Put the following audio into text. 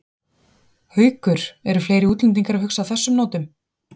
Haukur: Eru fleiri útlendingar að hugsa á þessum nótum?